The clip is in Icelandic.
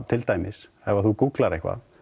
til dæmis ef þú gúgglar eitthvað